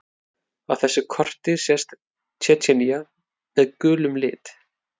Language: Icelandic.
Á þessu korti sést Tsjetsjenía með gulum lit.